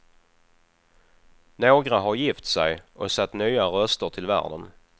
Några har gift sig och satt nya röster till världen.